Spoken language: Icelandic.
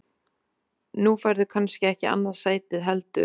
Nú færðu kannski ekki annað sætið heldur?